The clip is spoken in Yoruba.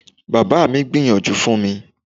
Bàbá mi gbìyànjú fún mi.